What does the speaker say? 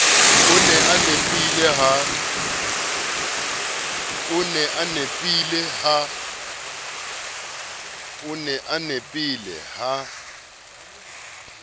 o ne a nepile ha